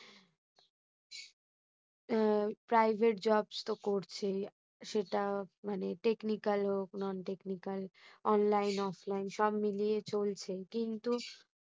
আহ private jobs তো করছে, সেটা মানে technical হোক non-technicalonlineoffline সব মিলিয়ে চলছে। কিন্তু